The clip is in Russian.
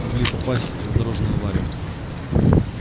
могли попасть в дорожную аварию